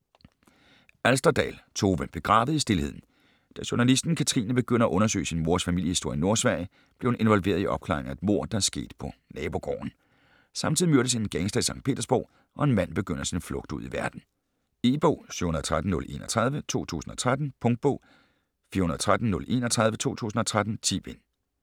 Alsterdal, Tove: Begravet i stilheden Da journalisten Katrine begynder at undersøge sin mors familiehistorie i Nordsverige, bliver hun involveret i opklaringen af et mord, der er sket på nabogården. Samtidig myrdes en gangster i Sankt Petersborg, og en mand begynder sin flugt ud i verden. E-bog 713031 2013. Punktbog 413031 2013. 10 bind.